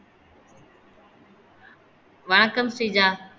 வணக்கம் ஸ்ரீஜா